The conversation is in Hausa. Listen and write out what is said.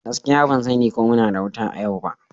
Gaskiya, ban sani ko muna da wuta a yau ba.